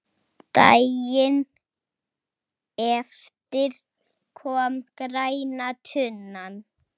Daginn eftir kom græna tunnan.